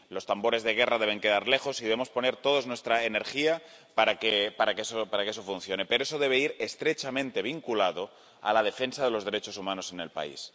Los tambores de guerra deben quedar lejos y debemos poner todos nuestra energía para que eso funcione, pero eso debe ir estrechamente vinculado a la defensa de los derechos humanos en el país.